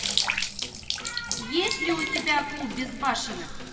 есть ли у тебя клуб безбашенных